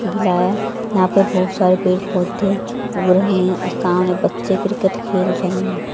गिला है यहां पे बहोत सारे पेड़ पौधे उग रहे है सामने बच्चे क्रिकेट खेल रहे--